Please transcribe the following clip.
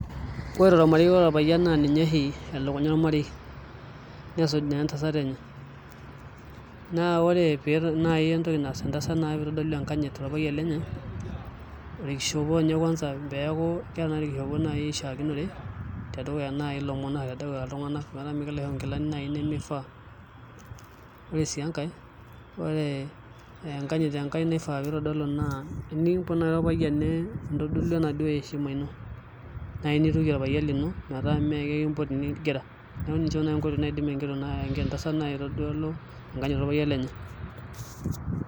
Ore tolmareu ore olpayian naa ninye oshi elukunya olmarei nesuju naa entasat enye naa ore pee ore nai entoki naas entasat naa pee itodolu enkanyit tolpayian lenye olkishopo kwanza peeku nai keeta olkishopo nai oshakinore tedukuya nai ilomon o tedukunya iltungana metaa mekelo aishoo nai inkilani nimifaa ore sii enkae enkanyit enkae naifaa pee itodolu tinikumpot nai olpayian nindodolu enaduo eshima ino nirukie olpayian lino metaa maikimpoti nigil neeeku ninche nai enkoitoi naidim enkitok entasat aitodolu tolpayian lenye.